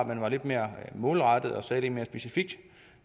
man var lidt mere målrettet og sagde lidt mere specifikt